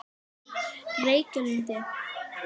Reykjalundi